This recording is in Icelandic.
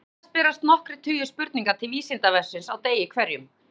Oftast berast nokkrir tugir spurninga til Vísindavefsins á degi hverjum.